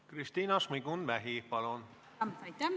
Kristina Šmigun-Vähi, palun!